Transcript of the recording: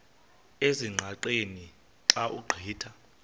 ezingqaqeni xa ugqitha